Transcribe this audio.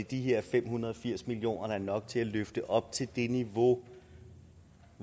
de her fem hundrede og firs million kroner er nok til at løfte op til det niveau